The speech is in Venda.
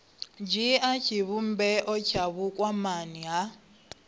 dzhia tshivhumbeo tsha vhukwamani ha